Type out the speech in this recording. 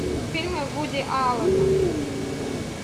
фильмы вуди аллена